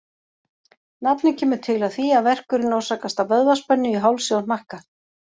Nafnið kemur til af því að verkurinn orsakast af vöðvaspennu í hálsi og hnakka.